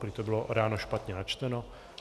Prý to bylo ráno špatně načteno.